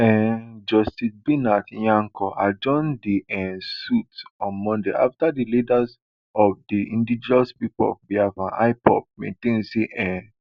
um justice binta nyako adjourn di um suit on monday afta leader of di indigenous people of biafra ipob maintain say im